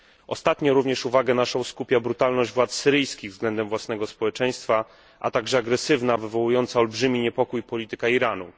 Ostatnio również uwagę naszą skupia brutalność władz syryjskich względem własnego społeczeństwa, a także agresywna, wywołująca olbrzymi niepokój polityka Iranu.